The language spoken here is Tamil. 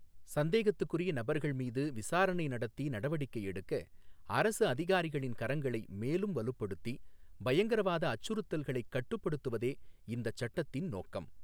சந்தேகத்துக்குரிய நபர்கள் மீது விசாரணை நடத்தி நடவடிக்கை எடுக்க அரசு அதிகாரிகளின் கரங்களை மேலும் வலுப்படுத்தி பயங்கரவாத அச்சுறுத்தல்களைக் கட்டுப்படுத்துவதே இந்தச் சட்டத்தின் நோக்கம்.